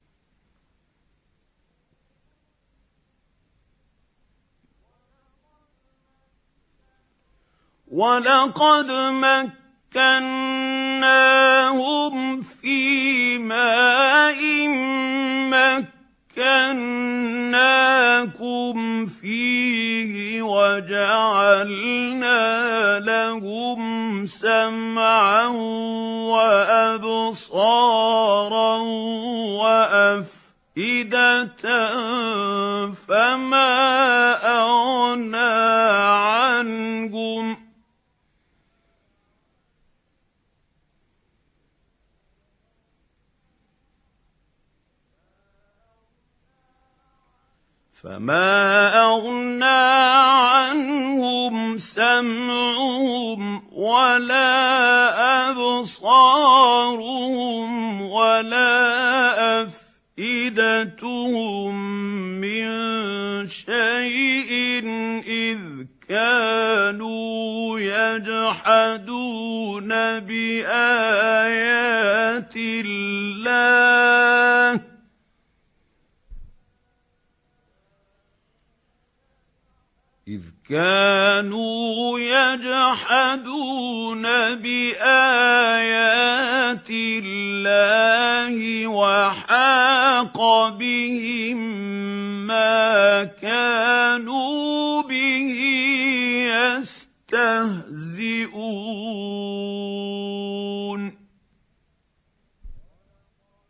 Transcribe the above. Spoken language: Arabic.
وَلَقَدْ مَكَّنَّاهُمْ فِيمَا إِن مَّكَّنَّاكُمْ فِيهِ وَجَعَلْنَا لَهُمْ سَمْعًا وَأَبْصَارًا وَأَفْئِدَةً فَمَا أَغْنَىٰ عَنْهُمْ سَمْعُهُمْ وَلَا أَبْصَارُهُمْ وَلَا أَفْئِدَتُهُم مِّن شَيْءٍ إِذْ كَانُوا يَجْحَدُونَ بِآيَاتِ اللَّهِ وَحَاقَ بِهِم مَّا كَانُوا بِهِ يَسْتَهْزِئُونَ